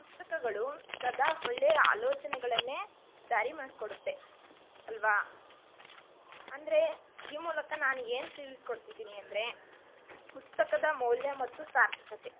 ಪುಸ್ತಕಗಳು ಸದಾ ಒಳ್ಳೆಯ ಆಲೋಚನೆಯನ್ನೇ ದಾರಿಮಾಡ್ಕೊಡುತ್ತೆ ಅಲ್ವಾ ಅಂದ್ರೆ ಈ ಮೂಲಕ ನಾನ್ ಏನ್ ತಿಳಿಸ್ಕೊಡ್ತಿದೀನಿ ಅಂದ್ರೆ ಪುಸ್ತಕದ ಮೂಲ್ಯ ಮತ್ತು ಸಾರ್ಥಕತೆ.